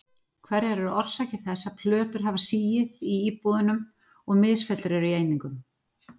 Hverjar eru orsakir þess að plötur hafa sigið í íbúðunum og misfellur eru í einingum?